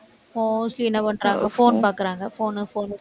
mostly என்ன பண்றாங்க phone பாக்கறாங்க phone, phone